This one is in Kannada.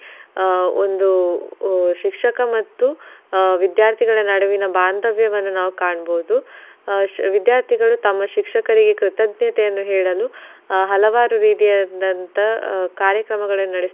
ಆಹ್ ಒಂದು ಶಿಕ್ಷಕ ಮತ್ತು ಆಹ್ ವಿದ್ಯಾರ್ಥಿಗಳ ನಡುವಿನ ಬಾಂದವ್ಯವನ್ನ ನಾವ್ ಕಾನ್ಬಹುದು. ಆಹ್ ವಿದ್ಯಾರ್ಥಿಗಳು ತಮ್ಮ ಶಿಕ್ಷರಿಗೆ ಕೃತಜ್ಞತೆಯನ್ನು ಹೇಳಲು ಹಲವಾರು ರೀತಿಯಾದಂತ ಕಾರ್ಯಕ್ರಮಗನ್ನ ನಡಸ್ತಾರೆ.